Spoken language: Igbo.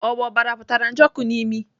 Ọ bụ ọbara pụtara Njoku n'imi?